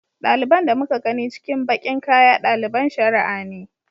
Ɗaliban da muka gani cikin baƙin kaya ɗaliban shari'a ne.